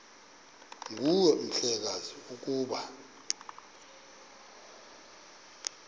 nguwe mhlekazi ukuba